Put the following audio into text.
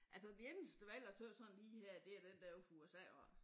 Altså det eneste valg jeg tøt sådan lige her det den dér ude fra USA iggås